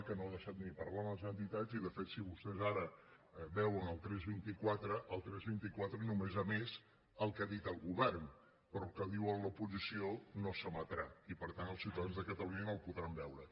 que no ha deixat parlar les entitats i de fet si vostès ara veuen el tres vint quatre el tres vint quatre només ha emès el que ha dit el govern però el que diu l’oposició no s’emetrà i per tant els ciutadans de catalunya no ho podran veure